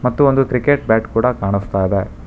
ಮತ್ತು ಒಂದು cricket bat ಕೂಡ ಕಾಣಿಸ್ತಾ ಇದೆ.